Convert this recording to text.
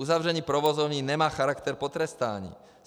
Uzavření provozovny nemá charakter potrestání.